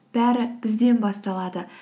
бәрі бізден басталады